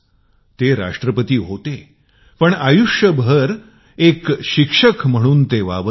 ते राष्ट्रपती होते पण जीवनभर ते एक शिक्षक म्हणून स्वतला प्रस्तुत करीत असत